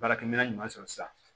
Baarakɛminɛn ɲuman sɔrɔ sisan